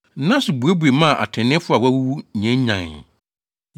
Nna so buebue maa atreneefo a wɔawuwu nyannyanee.